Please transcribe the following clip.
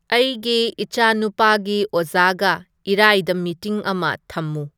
ꯑꯩꯒꯤ ꯏꯆꯥꯅꯨꯄꯥꯒꯤ ꯑꯣꯖꯥꯒ ꯏꯔꯥꯏꯗ ꯃꯤꯇꯤꯡ ꯑꯃ ꯊꯝꯃꯨ